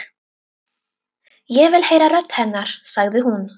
Ég vil heyra rödd hennar, sagði hún.